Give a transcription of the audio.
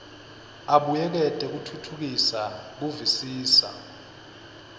abuyekete kutfutfukisa kuvisisa